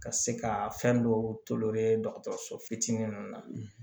Ka se ka fɛn dɔw dɔgɔtɔrɔso fitinin ninnu na